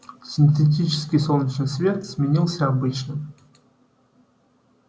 синтетический солнечный свет сменился обычным